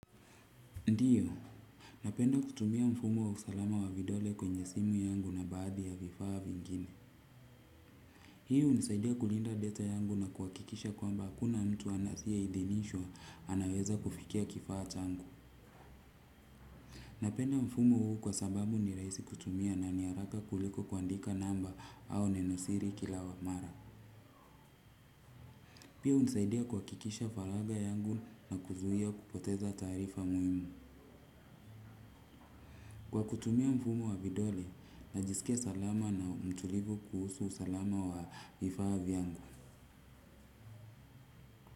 Ndiyo, napenda kutumia mfumo wa usalama wa vidole kwenye simu yangu na baadhi ya vifaa vingine. Hii unisaidia kulinda data yangu na kuwakikisha kwamba hakuna mtu anathia idhinishwa anaweza kufikia kifaa changu. Napenda mfumo huu kwa sababu ni rahisi kutumia kuliko namba au neno siri kila wa mara pia hunisaidia kuhakikisha faraga yangu na kupoteza tarifa muhimu. Kwa kutumia mfumo wa vidole, najisikia salama na mtulivu kuhusu usalama wa vifa vyangu.